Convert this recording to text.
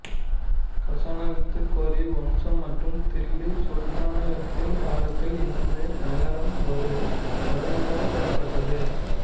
கசானவித்து கோரி வம்சம் மற்றும் தில்லி சுல்தானகத்தின் காலத்தில் இந்த நகரம் ஒரு தலைநகராக செயல்பட்டது